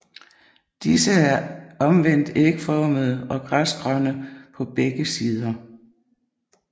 Disse er omvendt ægformede og græsgrønne på begge sider